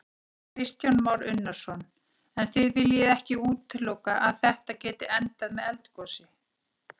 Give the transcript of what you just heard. Kristján Már Unnarsson: En þið viljið ekki útiloka að þetta geti endað með eldgosi?